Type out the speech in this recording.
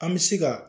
An bɛ se ka